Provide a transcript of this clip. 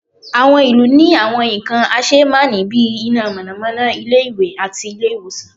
awọn ilu ní àwọn nkan asémàní bí, iná mọnamọna, ilé ìwé, àti ilé ìwòsan